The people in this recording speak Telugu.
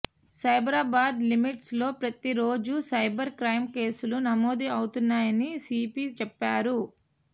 సైబరాబాద్ లిమిట్స్ లో ప్రతి రోజు సైబర్ క్రైమ్ కేసులు నమోదు అవుతున్నాయని సీపీ చెప్పారు